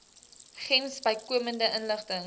gems bykomende inligting